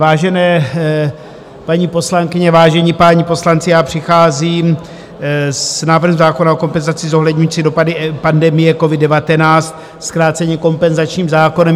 Vážené paní poslankyně, vážení páni poslanci, přicházím s návrhem zákona o kompenzaci zohledňující dopady pandemie covid-19, zkráceně kompenzačním zákonem.